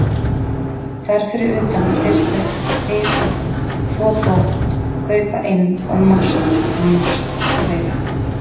Þar fyrir utan þyrfti að taka til, þvo þvott, kaupa inn og margt, margt fleira.